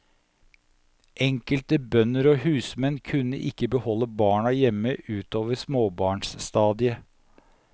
Enkelte bønder og husmenn kunne ikke beholde barna hjemme utover småbarnstadiet.